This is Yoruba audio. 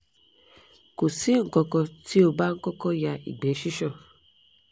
ko si nkankan ti o ba n koko ya igbe sisan